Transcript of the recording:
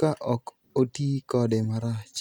ka ok oti kode marach.